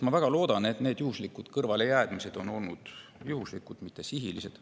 Ma väga loodan, et need kõrvalejäämised olid juhuslikud, mitte sihilised.